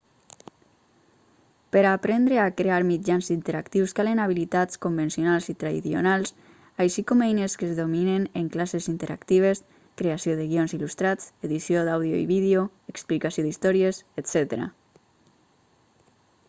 per a aprendre a crear mitjans interactius calen habilitats convencionals i traidionals així com eines que es dominen en classes interactives creació de guions il·lustrats edició d'àudio i vídeo explicació d'històries etc.